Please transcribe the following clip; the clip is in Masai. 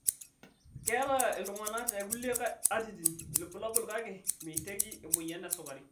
Keeta iltung'ana te kulie atitin ilbulabul kake meiteki emoyian esukari.